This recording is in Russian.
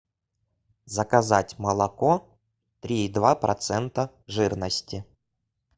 заказать молоко три и два процента жирности